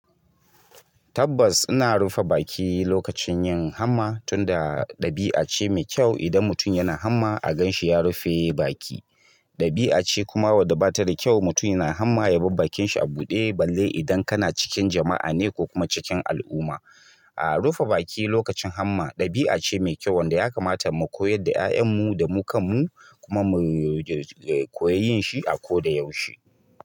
Tabbas, ina rufe baki lokacin yin hamma, tunda ɗabi'a ce mai kyau. Idan mutum yana hamma, a gan shi ya rufe baki. Ɗabi'a ce kuma wadda ba ta da kyau mutum yana hamma ya bar bakin shi a buɗe, balle idan kana cikin jama'a ne ko kuma cikin al'umma. A rufe baki lokacin hamma, ɗabi'a ce mai kyau wadda ya kamata mu koyar da 'ya'yan mu da mukan mu kuma mu riƙe koyi yin shi a ko da yaushe.